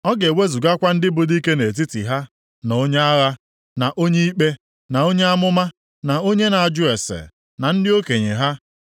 Ọ ga-ewezugakwa ndị bụ dike nʼetiti ha, na onye agha, na onye ikpe, na onye amụma, na onye na-ajụ ase, na ndị okenye ha,